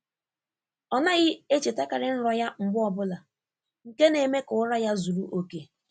Ọ naghị echetakarị nrọ ya mgbe ọ bụla, nke na-eme ka ụra ya zuru oke.